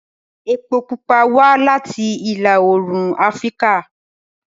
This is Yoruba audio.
Epo pupa wá láti ìlà-oòrùn Afíríkà